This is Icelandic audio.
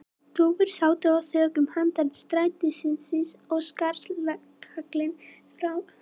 Dúfur sátu á þökum handan strætisins, og skarkalinn frá búðunum skreið upp húsveggi til þeirra.